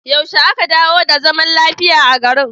Yaushe aka dawo da zaman lafiya a garin?